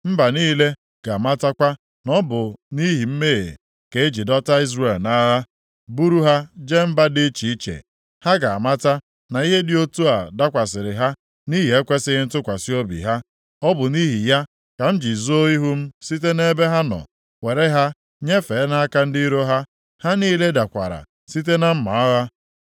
Mba niile ga-amatakwa na ọ bụ nʼihi mmehie ka e ji dọta Izrel nʼagha, buru ha jee mba dị iche iche. Ha ga-amata na ihe dị otu a dakwasịrị ha nʼihi ekwesighị ntụkwasị obi ha. Ọ bụ nʼihi ya ka m ji zoo ihu m site nʼebe ha nọ, were ha nyefee nʼaka ndị iro ha. Ha niile dakwara site na mma agha.